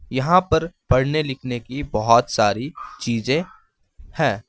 यहां पर पढ़ने लिखने की बहोत सारी चीज़ें है।